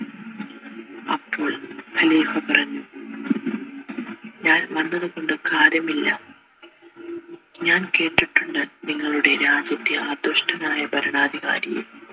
അപ്പോൾ ഖലീഫ പറഞ്ഞു ഞാൻ വന്നത്കൊണ്ട് കാര്യമില്ല ഞാൻ കേട്ടിട്ടുണ്ട് നിങ്ങളുടെ രാജ്യത്തെ ആ ദുഷ്ടനായ ഭരണാധികാരിയെ